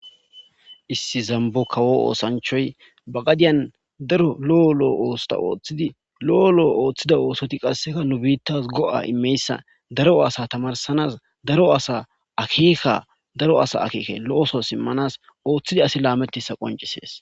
Issi zambo kawo oosanchoy ba gadiyan darolo7o lo7o oosta ooththidi lo7o lo7o ooththida oosoti qasseka nu biittas go7a imeyssa daro asa tamarsanas daro asa akieka daro asa akeeke lo7oso simmanas ooththidi asi laametisa qoncisees